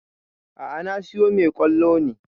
A'a na siyo mai ƙwallo ne